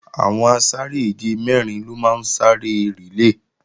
Àwọn asáré-èje mẹ́rin ló máa ń sá eré rìlé